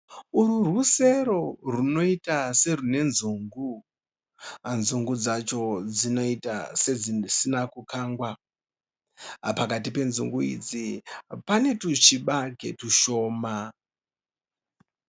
Urwu rusero runoita serune nzungu, nzungu dzacho dzinoita sedzisina kukangwa, pakati penzungu idzi pane tuchibage tushoma.